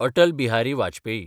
Atal Bihari Vajpayee